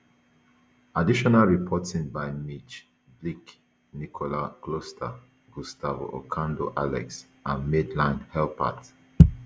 additional reporting by mitch labiak nicole kolster gustavo ocando alex and madeline halpert